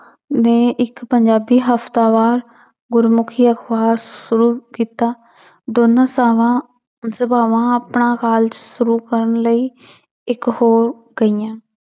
ਨੇ ਇੱਕ ਪੰਜਾਬੀ ਹਫ਼ਤਾਵਾਰ ਗੁਰਮੁਖੀ ਅਖ਼ਬਾਰ ਸ਼ੁਰੂ ਕੀਤਾ ਦੋਨਾਂ ਸਾਵਾਂਂ ਸਭਾਵਾਂ ਆਪਣਾ college ਸ਼ੁਰੂ ਕਰਨ ਲਈ ਇੱਕ ਹੋ ਗਈਆਂ